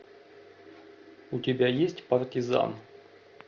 у тебя есть партизан